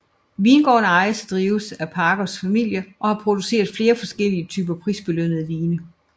Vingården ejes og drives af Parkers familie og har produceret flere forskellige typer prisbelønnede vine